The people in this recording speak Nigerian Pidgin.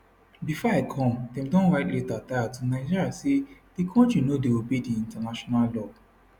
bifor i come dem don write letter tire to nigeria say di kontri no dey obey di international law